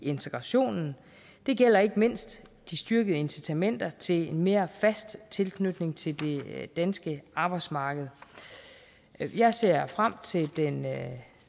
integrationen det gælder ikke mindst de styrkede incitamenter til en mere fast tilknytning til det danske arbejdsmarked jeg ser frem til den